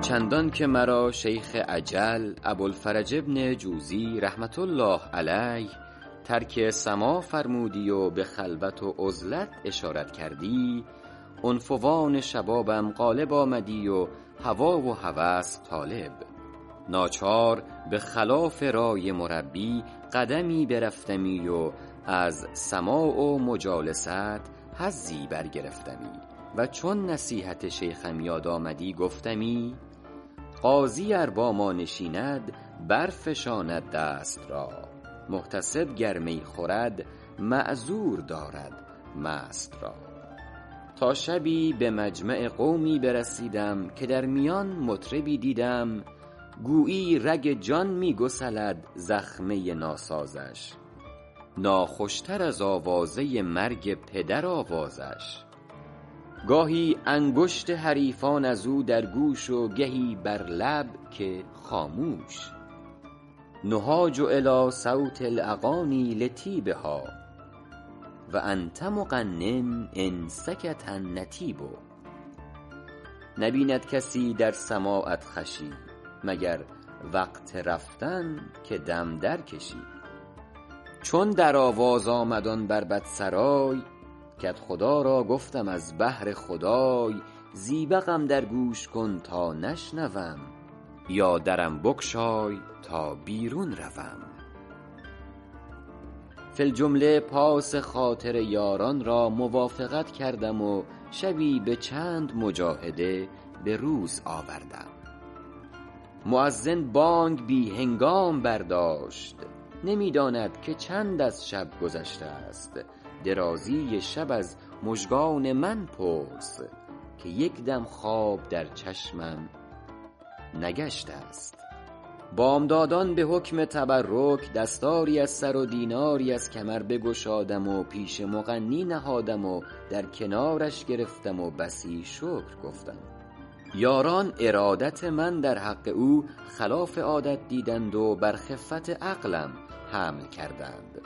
چندان که مرا شیخ اجل ابوالفرج بن جوزی رحمة الله علیه ترک سماع فرمودی و به خلوت و عزلت اشارت کردی عنفوان شبابم غالب آمدی و هوا و هوس طالب ناچار به خلاف رای مربی قدمی برفتمی و از سماع و مجالست حظی برگرفتمی و چون نصیحت شیخم یاد آمدی گفتمی قاضی ار با ما نشیند برفشاند دست را محتسب گر می خورد معذور دارد مست را تا شبی به مجمع قومی برسیدم که در میان مطربی دیدم گویی رگ جان می گسلد زخمه ناسازش ناخوش تر از آوازه مرگ پدر آوازش گاهی انگشت حریفان از او در گوش و گهی بر لب که خاموش نهاج الیٰ صوت الاغانی لطیبها و انت مغن ان سکت نطیب نبیند کسی در سماعت خوشی مگر وقت رفتن که دم درکشی چون در آواز آمد آن بربط سرای کدخدا را گفتم از بهر خدای زیبقم در گوش کن تا نشنوم یا درم بگشای تا بیرون روم فی الجمله پاس خاطر یاران را موافقت کردم و شبی به چند مجاهده به روز آوردم مؤذن بانگ بی هنگام برداشت نمی داند که چند از شب گذشته است درازی شب از مژگان من پرس که یک دم خواب در چشمم نگشته است بامدادان به حکم تبرک دستاری از سر و دیناری از کمر بگشادم و پیش مغنی نهادم و در کنارش گرفتم و بسی شکر گفتم یاران ارادت من در حق او خلاف عادت دیدند و بر خفت عقلم حمل کردند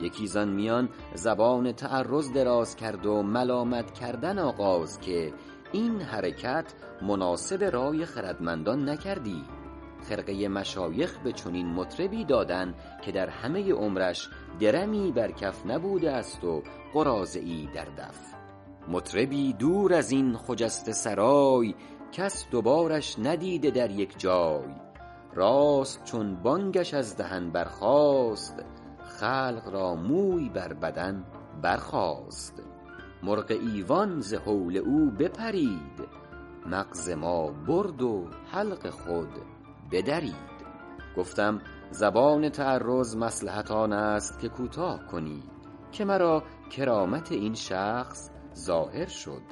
یکی زآن میان زبان تعرض دراز کرد و ملامت کردن آغاز که این حرکت مناسب رای خردمندان نکردی خرقه مشایخ به چنین مطربی دادن که در همه عمرش درمی بر کف نبوده است و قراضه ای در دف مطربی دور از این خجسته سرای کس دو بارش ندیده در یک جای راست چون بانگش از دهن برخاست خلق را موی بر بدن برخاست مرغ ایوان ز هول او بپرید مغز ما برد و حلق خود بدرید گفتم زبان تعرض مصلحت آن است که کوتاه کنی که مرا کرامت این شخص ظاهر شد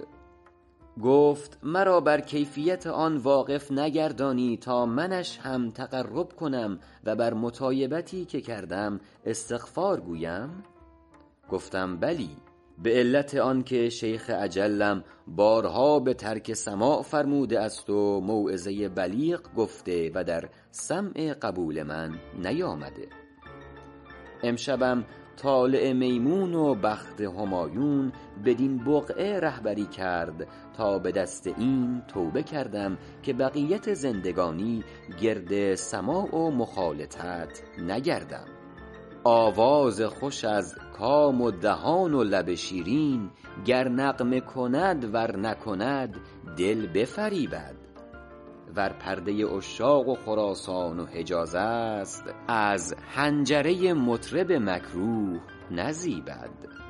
گفت مرا بر کیفیت آن واقف نگردانی تا منش هم تقرب کنم و بر مطایبتی که کردم استغفار گویم گفتم بلی به علت آن که شیخ اجلم بارها به ترک سماع فرموده است و موعظه بلیغ گفته و در سمع قبول من نیامده امشبم طالع میمون و بخت همایون بدین بقعه رهبری کرد تا به دست این توبه کردم که بقیت زندگانی گرد سماع و مخالطت نگردم آواز خوش از کام و دهان و لب شیرین گر نغمه کند ور نکند دل بفریبد ور پرده عشاق و خراسان و حجاز است از حنجره مطرب مکروه نزیبد